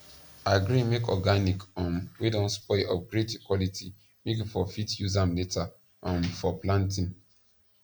agree make organic um wey don spoil upgrade the quality make you for fit use am later um for planting